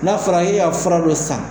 N'a fɔra e y'a fura don san.